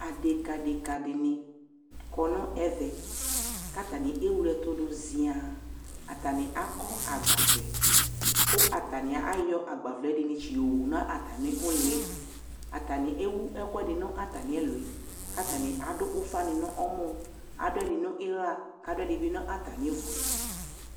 adeka adeka di ni kɔ no ɛvɛ ko atani ewle ɛto do zia atani akɔ agbavlɛ ko atani ayɔ agbavlɛ ɛdi ni tsi owu no atami uliɛ atani ewu ɛkoɛdi no atami uliɛ atani ado ufa ni no ɔmɔ ado udi bi no ila ado ɛdi bi no atami uvoɛ